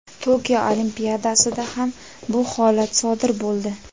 Tokio Olimpiadasida ham bu holat sodir bo‘ldi.